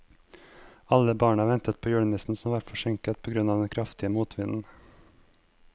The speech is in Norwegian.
Alle barna ventet på julenissen, som var forsinket på grunn av den kraftige motvinden.